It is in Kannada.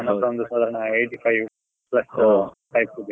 ಅದು ಒಂದು ಸಾದಾರ್ಣ eighty five plus types ಇದೆ.